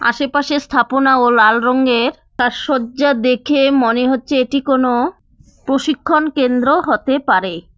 আশেপাশে স্থাপনা ও লাল রঙের সাজসজ্জা দেখে মনে হচ্ছে এটি কোনো প্রশিক্ষণকেন্দ্র হতে পারে।